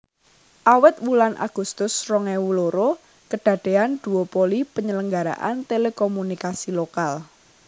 Awit wulan Agustus rong ewu loro kedadeyan duopoli penyelenggaraan telekomunikasi lokal